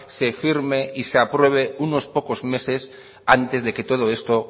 se firme y se acuerde unos pocos meses antes de que todo esto